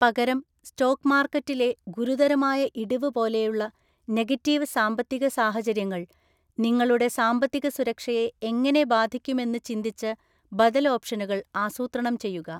പകരം, സ്റ്റോക്ക് മാർക്കറ്റിലെ ഗുരുതരമായ ഇടിവ് പോലെയുള്ള നെഗറ്റീവ് സാമ്പത്തിക സാഹചര്യങ്ങൾ നിങ്ങളുടെ സാമ്പത്തിക സുരക്ഷയെ എങ്ങനെ ബാധിക്കുമെന്ന് ചിന്തിച്ച് ബദൽ ഓപ്ഷനുകൾ ആസൂത്രണം ചെയ്യുക.